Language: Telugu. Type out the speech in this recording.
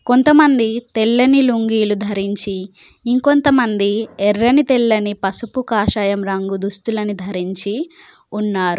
కొంతమంది తెల్లని లుంగీలు ధరించి ఇంకొంత మంది ఎర్రని తెల్లని పసుపు కాషాయం రంగు దుస్తులను ధరించి ఉన్నారు.